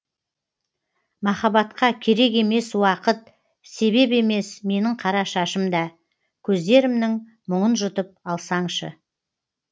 махаббатқа керек емес уақыт себеп емес менің қара шашым да көздерімнің мұңын жұтып алсаңшы